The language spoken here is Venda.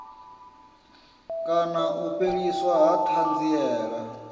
kana u fheliswa ha thanziela